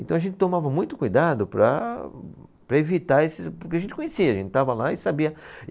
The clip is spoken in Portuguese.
Então a gente tomava muito cuidado para, para evitar esses, porque a gente conhecia, a gente estava lá e sabia.